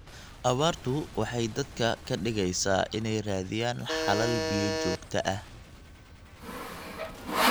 Abaartu waxay dadka ka dhigaysaa inay raadiyaan xalal biyo joogto ah.